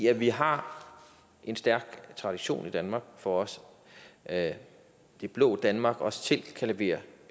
at vi har en stærk tradition i danmark for at det blå danmark også selv kan levere